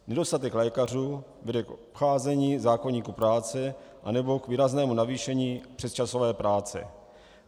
Nedostatek lékařů vede k obcházení zákoníku práce nebo k výraznému navýšení přesčasové práce.